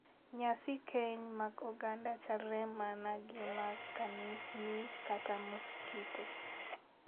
Nyasi keny mag oganda chalre mana gi mag kanisni kata muskite.